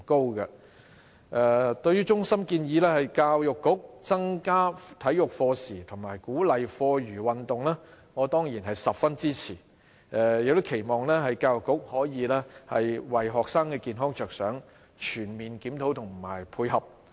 對於衞生防護中心建議教育局增加體育課時及鼓勵課餘運動，我當然十分支持，期望教育局可以為學生的健康着想，作出全面檢討及配合。